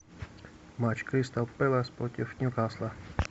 матч кристал пэлас против ньюкасла